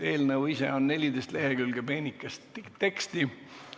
Eelnõu ise on 14 lehekülge peenikest teksti.